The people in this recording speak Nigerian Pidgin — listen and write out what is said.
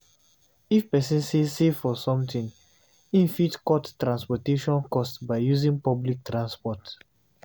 If person sey save for something, im fit cut transportation cost by using public transport